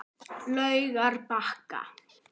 Laugarbakka